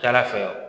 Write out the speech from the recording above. Cana fɛ